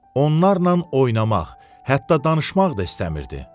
Onlarla oynamaq, hətta danışmaq da istəmirdi.